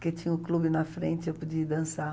Porque tinha o clube na frente, eu podia ir dançar.